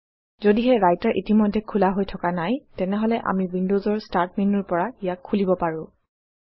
যদিহে ৰাইটাৰ ইতিমধ্যে খোলা হৈ থকা নাই তেনেহলে আমি Windows ৰ ষ্টাৰ্ট মেন্যুৰ পৰা ইয়াক খুলিব পাৰোঁ